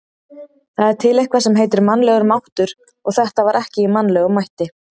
Það er til eitthvað sem heitir mannlegur máttur, og þetta var ekki í mannlegum mætti.